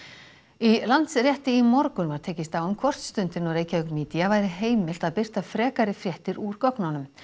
í Landsrétti í morgun var tekist á um hvort Stundinni og Reykjavik Media væri heimilt að birta frekari fréttir úr gögnunum